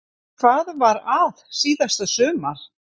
En hvað var að síðasta sumar?